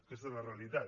aquesta és la realitat